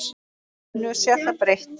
Nú sé það breytt.